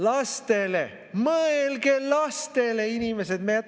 Lastele, mõelge lastele, inimesed!